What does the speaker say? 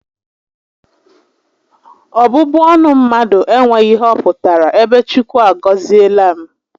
Ọbụbụ ọnụ mmadụ enweghị ihe ọ pụtara ebe Chukwu a gọziela m